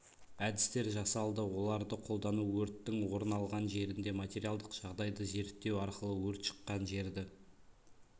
әдістер жасалды оларды қолдану өрттің орын алған жерінде материалдық жағдайды зерттеу арқылы өрт шыққан жерді